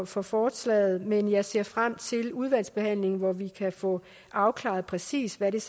for forslaget men jeg ser frem til udvalgsbehandlingen hvor vi kan få afklaret præcis hvad der